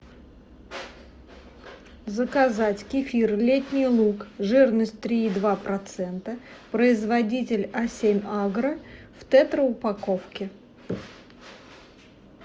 заказать кефир летний луг жирность три и два процента производитель а семь агро в тетра упаковке